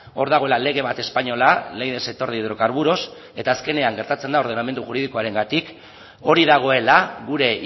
hor dagoela lege bat espainola ley del sector de hidrocarburos eta azkenean gertatzen da ordenamendu juridikoarengatik hori dagoela gure